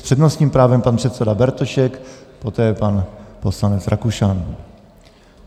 S přednostním právem pan předseda Bartošek, poté pan poslanec Rakušan.